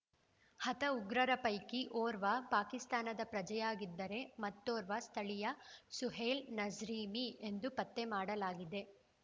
ಹತ ಉಗ್ರರ ಪೈಕಿ ಓರ್ವ ಪಾಕಿಸ್ತಾನದ ಪ್ರಜೆಯಾಗಿದ್ದರೆ ಮತ್ತೋರ್ವ ಸ್ಥಳೀಯ ಸುಹೈಲ್‌ ನಸ್ರಿವಿ ಎಂದು ಪತ್ತೆ ಮಾಡಲಾಗಿದೆ